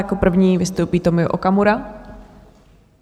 Jako první vystoupí Tomio Okamura.